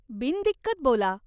बिनदिक्कत बोला.